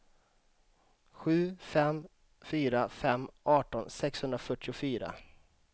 sju fem fyra fem arton sexhundrafyrtiofyra